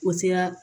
O sera